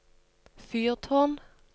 fyrtårn